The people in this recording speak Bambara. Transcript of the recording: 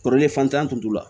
Kɔrɔlen fantan tun t'o la